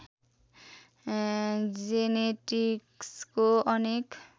जेनेटिक्सको अनेक